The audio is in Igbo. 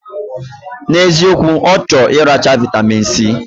Na eziokwu, ochor iracha vitamin C.